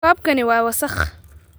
Koobkani waa wasakh